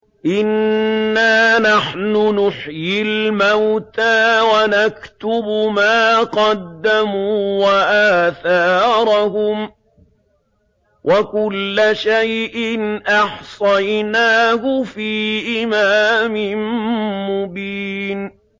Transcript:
إِنَّا نَحْنُ نُحْيِي الْمَوْتَىٰ وَنَكْتُبُ مَا قَدَّمُوا وَآثَارَهُمْ ۚ وَكُلَّ شَيْءٍ أَحْصَيْنَاهُ فِي إِمَامٍ مُّبِينٍ